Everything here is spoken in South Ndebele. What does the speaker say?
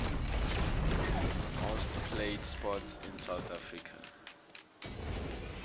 most played sports in south africa